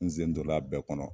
N zen don la a bɛɛ kɔnɔ